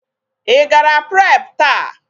Ị gara pre taa?